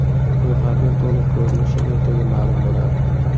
Ro‘yxatning to‘liq ko‘rinishi ertaga ma’lum bo‘ladi.